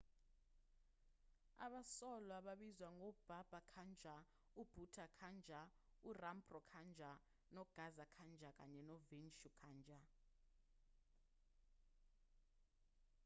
abasolwa babizwa ngobaba kanjar ubhutha kanjar urampro kanjar ugaza kanjar kanye novishnu kanjar